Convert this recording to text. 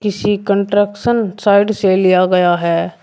सी construction side से लिया गया है।